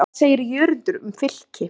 Hvað segir Jörundur um Fylki?